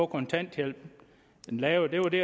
kontanthjælpen lavet det var det